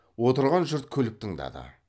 отырған жұрт күліп тыңдады